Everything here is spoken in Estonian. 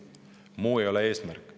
Muu ei ole eesmärk.